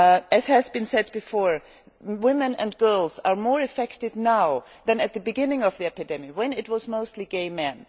As has been said before, women and girls are more affected now than at the beginning of the epidemic, when it was mostly gay men.